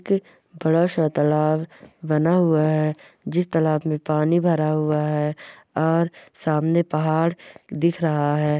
ति बड़ा सा तालाब बना हुआ है जिस तालाब में पानी भरा हुआ है और सामने पाहाड़ दिख रहा है।